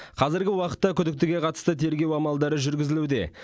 қазіргі уақытта күдіктіге қатысты тергеу амалдары жүргізілуде